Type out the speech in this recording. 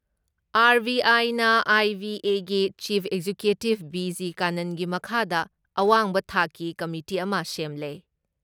ꯑꯥꯔ.ꯕꯤ.ꯑꯥꯏꯅ ꯑꯥꯏ.ꯕꯤ.ꯑꯦꯒꯤ chief executive BG ꯀꯥꯅꯟꯒꯤ ꯃꯈꯥꯗ ꯑꯋꯥꯡꯕ ꯊꯥꯛꯀꯤ ꯀꯃꯤꯇꯤ ꯑꯃ ꯁꯦꯝꯂꯦ ꯫